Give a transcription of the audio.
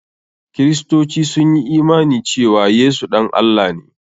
Kiristoci sun yi imani cewa Yesu ɗan Allah ne.